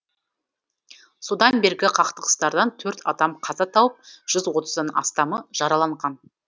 содан бергі қақтығыстардан төрт адам қаза тауып жүз отыздан астамы жараланған